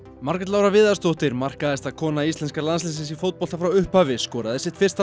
Margrét Lára Viðarsdóttir markahæsta kona íslenska landsliðsins í fótbolta frá upphafi skoraði sitt fyrsta